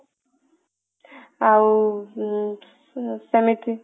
ଆଉ ସେମିତି